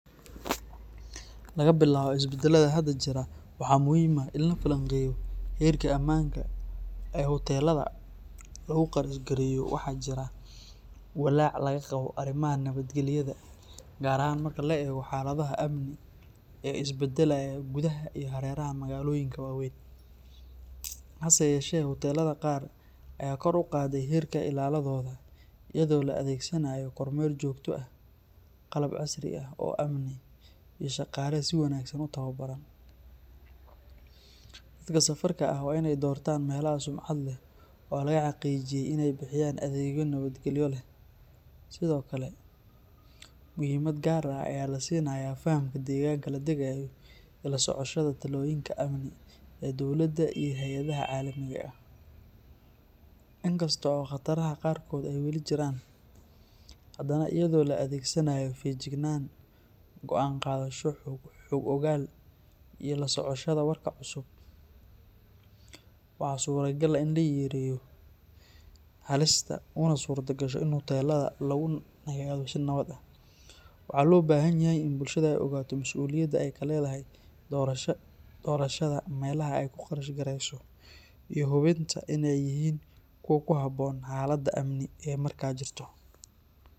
Laga bilaabo isbeddelada hadda jira, waxaa muhiim ah in la falanqeeyo heerka amaanka ee hoteelada lagu qarashgareeyo. Waxaa jira walaac laga qabo arrimaha nabadgelyada, gaar ahaan marka la eego xaaladaha amni ee isbeddelaya gudaha iyo hareeraha magaalooyinka waaweyn. Hase yeeshee, hoteelada qaar ayaa kor u qaaday heerka ilaaladooda, iyadoo la adeegsanayo kormeer joogto ah, qalab casri ah oo amni, iyo shaqaale si wanaagsan u tababaran. Dadka safarka ah waa inay doortaan meelaha sumcad leh oo laga xaqiijiyay iney bixiyaan adeegyo nabadgelyo leh. Sidoo kale, muhiimad gaar ah ayaa la siinayaa fahamka deegaanka la degayo iyo la socoshada talooyinka amni ee dowladda iyo hay'adaha caalamiga ah. Inkasta oo khataraha qaarkood ay weli jiraan, hadana iyadoo la adeegsanayo feejignaan, go’aan qaadasho xog ogaal ah, iyo la socoshada wararka cusub, waxaa suuragal ah in la yareeyo halista una suurtagasho in hoteelada lagu nagaado si nabad ah. Waxaa loo baahan yahay in bulshada ay ogaato mas'uuliyadda ay ka leedahay doorashada meelaha ay ku qarashgareyso iyo hubinta iney yihiin kuwa ku habboon xaaladda amni ee markaa jirta.